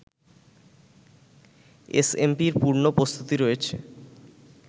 এসএমপির পূর্ণ প্রস্তুতি রয়েছে